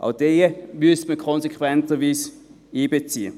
Auch diese müsste man als Konsequenz einbeziehen.